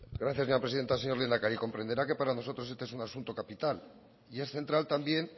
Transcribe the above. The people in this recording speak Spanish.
gracias señora presidenta señor lehendakari comprenderá que para nosotros este es un asunto capital y es central también